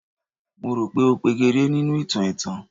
Mo rò pé ó pegedé nínú ìtàn ẹ̀tàn